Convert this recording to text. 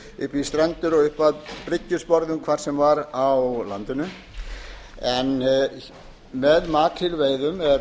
í strendur og upp að bryggjusporðum hvar sem var á landinu en með makrílveiðum